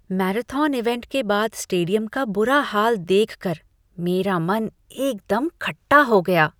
Marathon event के बाद stadium का बुरा हाल देखकर मेरा मन एकदम खट्टा हो गया।